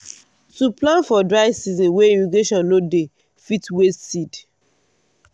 to plant for dry season wey irrigation no dey fit waste seed.